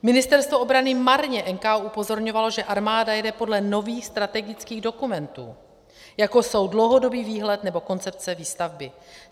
Ministerstvo obrany marně NKÚ upozorňovalo, že armáda jede podle nových strategických dokumentů, jako jsou dlouhodobý výhled nebo koncepce výstavby.